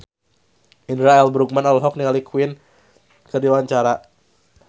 Indra L. Bruggman olohok ningali Queen keur diwawancara